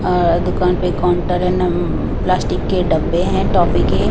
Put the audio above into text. अ दुकान पे काउंटर हैं नम प्लास्टिक के डब्बे हैं टॉफी के --